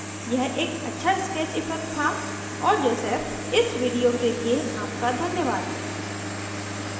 यह एक अच्छा sketch effect था और joseph इस video के लिए आपका धन्यवाद